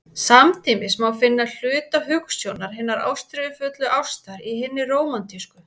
Samtímis má finna hluta hugsjónar hinnar ástríðufullu ástar í hinni rómantísku.